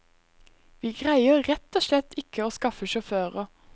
Vi greier rett og slett ikke å skaffe sjåfører.